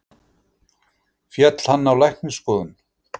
Féll hann á læknisskoðun?